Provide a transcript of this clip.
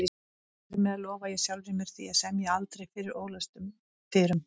Hér með lofa ég sjálfri mér því að semja aldrei fyrir ólæstum dyrum